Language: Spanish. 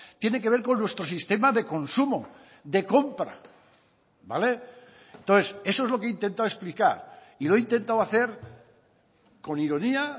tiene que ver con nuestro sistema de consumo de compra vale entonces eso es lo que he intentado explicar y lo he intentado hacer con ironía